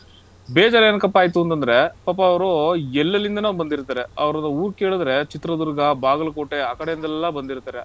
ಬೇಜಾರ್ ಏನಕಪ್ಪ ಆಯ್ತು ಅಂತಂದ್ರೆ, ಪಾಪ ಅವ್ರು ಎಲ್ಲೆಲ್ಲಿಂದನೋ ಬಂದಿರ್ತಾರೆ, ಅವ್ರದ್ದು ಊರ್ ಕೇಳಿದ್ರೆ ಚಿತ್ರದುರ್ಗ, ಬಾಗಲಕೋಟೆ, ಆ ಕಡೆಯಿಂದೆಲ್ಲಾ ಬಂದಿರ್ತಾರೆ.